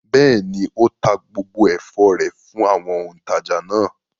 Bẹ́ẹ̀ ni, ó ta gbogbo ẹ̀fọ́ rẹ̀ fún àwọn òǹtajà náà.